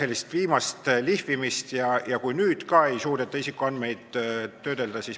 Vabariigi Valitsuse algatatud isikuandmete kaitse seaduse rakendamise seaduse eelnõu 650 teine lugemine.